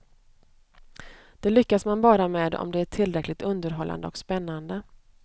Det lyckas man bara med om det är tillräckligt underhållande och spännande.